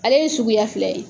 Ale ye suguya fila ye.